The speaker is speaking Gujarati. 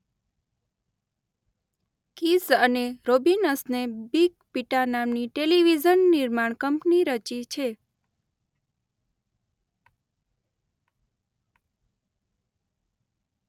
કીઝ અને રોબિનસને બિગ પિટા નામની ટેલિવિઝન નિર્માણ કંપની રચી છે.